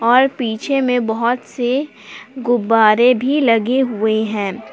और पीछे में बहुत से गुब्बारे भी लगे हुए हैं।